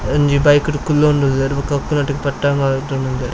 ಒಂಜಿ ಬೈಕ್ ಡ್ ಕುಲ್ಲೊಂದುಲ್ಲೆರ್ ಬೊಕ ಅಕುಲ್ನಒಟ್ಟಿಗೆ ಪಟ್ಟಂಗ ಒಇತೊಂದುಲ್ಲೆರ್.